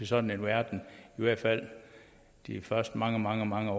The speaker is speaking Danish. sådan en verden i hvert fald de første mange mange mange